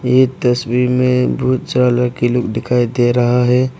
इस तस्वीर में बहुत सा लड़की लोग दिखाई दे रहा है।